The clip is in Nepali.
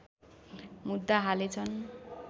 मुद्दा हालेछन्